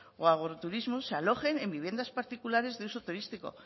o agroturismos se alojen en viviendas particulares de uso turístico